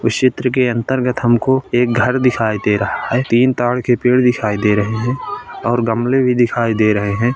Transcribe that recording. इस चित्र के अंतर्गत हमको एक घर दिखाई दे रहा है तीन ताड़ के पेड दिखाई दे रहे हैऔर गमले भी दिखाई दे रहे है।